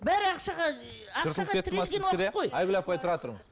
бәрі ақшаға айгүл апай тұра тұрыңыз